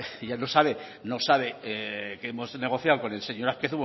ya no sabe que hemos negociado con el señor azpiazu vamos a ver